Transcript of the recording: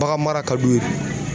Bagan mara ka d'u ye